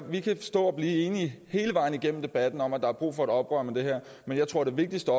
vi kan stå og blive enige hele vejen igennem debatten om at der er brug for et oprør mod det her men jeg tror det vigtigste